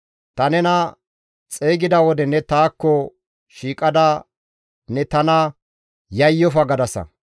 Ta nena xeygida wode ne taakko shiiqada, «Yayyofa» gadasa.